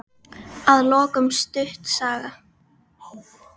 Að lokum stutt saga.